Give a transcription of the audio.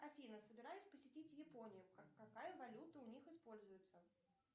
афина собираюсь посетить японию какая валюта у них используется